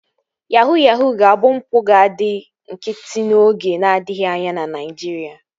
Yahuu ga-abụ mpụ ga-adị nkịtị oge n'adịghị anya na Naijiria